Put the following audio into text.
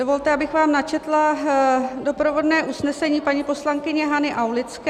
Dovolte, abych vám načetla doprovodné usnesení paní poslankyně Hany Aulické.